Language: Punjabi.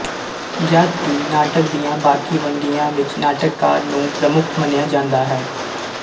ਜਦ ਕਿ ਨਾਟਕ ਦੀਆਂ ਬਾਕੀ ਵੰਨਗੀਆਂ ਵਿੱਚ ਨਾਟਕਕਾਰ ਨੂੰ ਪ੍ਰਮੁੱਖ ਮੰਨਿਆ ਜਾਂਦਾ ਹੈ